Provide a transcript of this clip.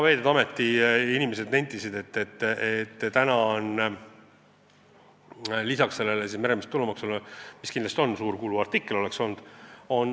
Veeteede Ameti inimesed nentisid, et lisaks meremeeste tulumaksule tuleb arvestada ka igasuguseid muid tasusid.